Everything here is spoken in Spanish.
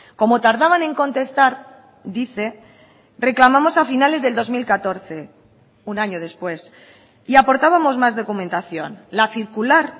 como tardaban en contestar dice reclamamos a finales del dos mil catorce un año después y aportábamos más documentación la circular